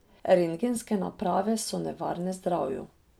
Rentgenske naprave so nevarne zdravju.